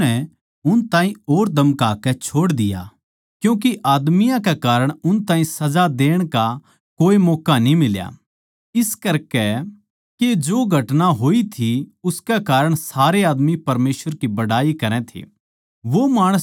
फेर उननै उन ताहीं और धमकाकै छोड़ दिया क्यूँके आदमियाँ कै कारण उन ताहीं सजा देण का कोए मौक्का न्ही मिल्या इस करकै के जो घटना होई थी उसकै कारण सारे आदमी परमेसवर की बड़ाई करै थे